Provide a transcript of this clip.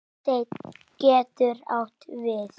Steinn getur átt við